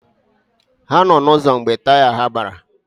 Ha nọ n'ụzọ mgbe taya ha gbara.